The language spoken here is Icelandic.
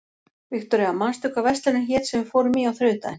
Viktoria, manstu hvað verslunin hét sem við fórum í á þriðjudaginn?